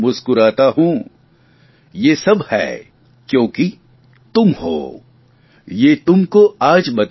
ये सब है कयोंकि तुम हो ये तुमके आज बताता हुं